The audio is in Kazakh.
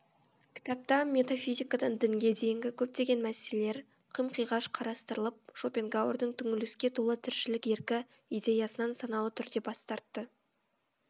кітапта метафизикадан дінге дейінгі көптеген мәселелер қым қиғаш қарастырылып шопенгауэрдің түңіліске толы тіршілік еркі идеясынан саналы түрде бас тартты